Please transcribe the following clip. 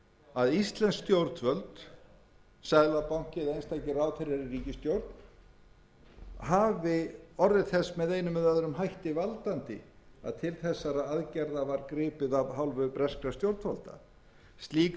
að íslensk stjórnvöld seðlabanki eða einstakir ráðherrar í ríkisstjórn hafi orðið þess með einum eða öðrum hætti valdandi að til þessara aðgerða var gripið af hálfu breskra stjórnvalda slík